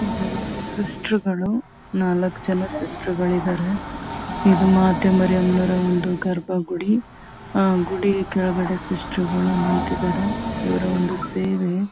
ಇದು ಸಿಸ್ಟರ್ ಗಳು ನಾಲಕ್ ಜನ ಸಿಸ್ಟರ್ ಗಳಿದ್ದಾರೆ. ಇದು ಮಾತೆ ಮರಿಯಮ್ಮರವರ ಒಂದು ಗರ್ಭಗುಡಿ. ಆ ಗುಡಿ ಕೆಳಗಡೆ ಸಿಸ್ಟರ್ ಗಳು ನಿಂತಿದ್ದಾರೆ ಇವರ ಒಂದು ಸೇವೆ--